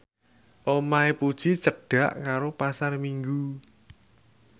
omahe Puji cedhak karo Pasar Minggu